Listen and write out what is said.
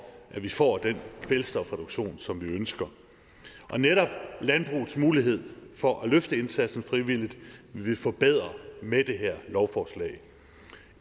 at vi får den kvælstofreduktion som vi ønsker netop landbrugets mulighed for at løfte indsatsen frivilligt vil vi forbedre med det her lovforslag